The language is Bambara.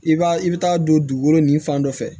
I b'a i bɛ taa don dugukolo nin fan dɔ fɛ